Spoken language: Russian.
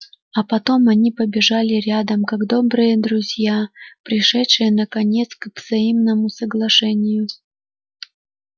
а потом они побежали рядом как добрые друзья пришедшие наконец к взаимному соглашению